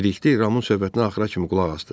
Bilikli Ramın söhbətinə axıra kimi qulaq asdı.